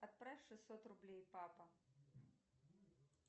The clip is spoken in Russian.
отправь шестьсот рублей папа